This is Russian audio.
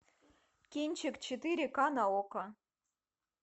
кинчик четыре ка на окко